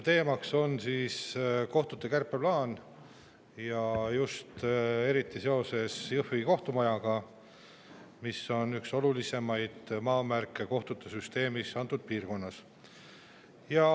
Teema on kohtute kärpeplaan, just eriti Jõhvi kohtumaja, mis on üks olulisemaid maamärke kohtusüsteemis antud piirkonnas.